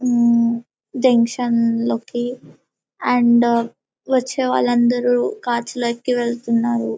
ఉమ్మ్ జంక్షన్ లోకి అండ్ వచ్చే వలందరు కార్స్లోకి వెళ్తున్నారు.